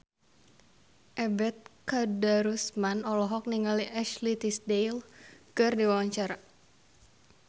Ebet Kadarusman olohok ningali Ashley Tisdale keur diwawancara